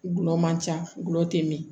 Gulɔ man ca gulɔ tɛ min